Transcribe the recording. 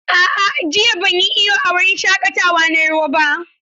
A'a, jiya ban yi iyo a wurin shaƙatawa na ruwa ba.